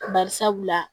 Bari sabula